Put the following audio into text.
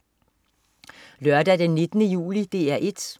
Lørdag den 19. juli - DR 1: